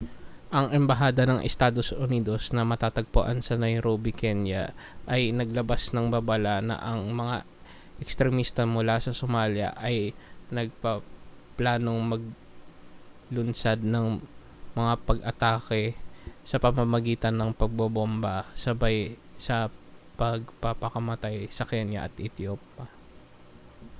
ang embahada ng estados unidos na matatagpuan sa nairobi kenya ay naglabas na ng babala na ang mga ekstremista mula sa somalia ay nagpaplanong maglunsad ng mga pag-atake sa pamamagitan ng pambobomba sabay sa pagpapakamatay sa kenya at ethiopia